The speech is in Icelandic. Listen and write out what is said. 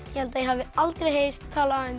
ég held ég hafi aldrei heyrt talað um